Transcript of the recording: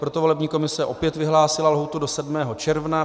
Proto volební komise opět vyhlásila lhůtu do 7. června.